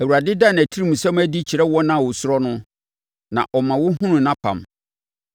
Awurade da nʼatirimsɛm adi kyerɛ wɔn a wɔsuro no; na ɔma wɔhunu nʼapam.